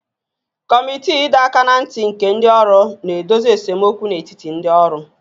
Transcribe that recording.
Kọmiti ịdọ aka ná ntị nke ndị ọrụ na-edozi esemokwu n'etiti ndị ọrụ